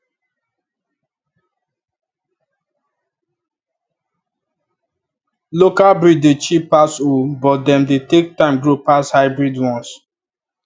local breed dey cheap pass oo but dem dey take time grow pass hybrid ones